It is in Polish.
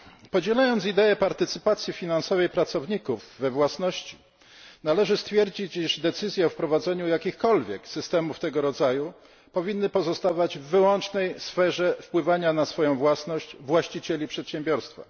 Podzielając ideę partycypacji finansowej pracowników we własności, należy stwierdzić, iż decyzje o wprowadzeniu jakichkolwiek systemów tego rodzaju powinny pozostawać w wyłącznej sferze wpływania na swoją własność właścicieli przedsiębiorstwa.